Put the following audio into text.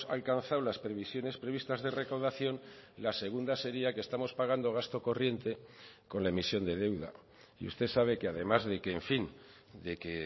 alcanzado las previsiones previstas de recaudación la segunda sería que estamos pagando gasto corriente con la emisión de deuda y usted sabe que además de que en fin de que